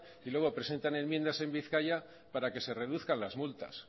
y luego presentan enmiendas en bizkaia para que se reduzcan las multas